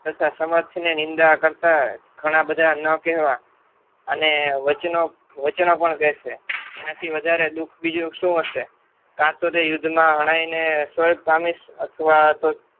તથા સમર્થને નિંદા કરતા ઘણા બધા ન કહેવા અને વચનો પણ કહેશે તેનાથી વધારે દુઃખ બીજું શું હશે કાટુરે યુદ્ધમાં ઘણાયને પામીશ અથવા તો